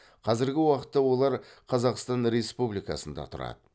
қазіргі уақытта олар қазақстан республикасында тұрады